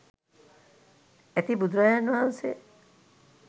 ඇති බුදුරජාණන් වහන්සේ